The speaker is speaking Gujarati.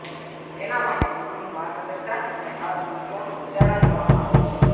તેના માટે ગુરુનું માર્ગદર્શન અને ખાસ મંત્રોનું ઉચ્ચારણ કરવામાં આવે છે